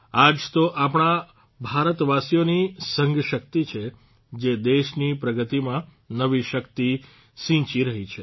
આ જ તો આપણા ભારતવાસીઓની સંઘ શક્તિ છે જે દેશની પ્રગતિમાં નવી શક્તિ સિંચી રહી છે